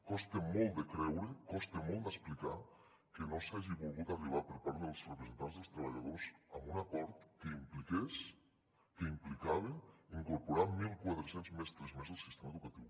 costa molt de creure costa molt d’explicar que no s’hagi volgut arribar per part dels representants dels treballadors a un acord que implicava incorporar mil quatre cents mestres més al sistema educatiu